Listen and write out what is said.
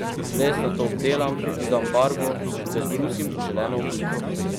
Les nato obdelam, dodam barvo in ga zbrusim v želeno obliko.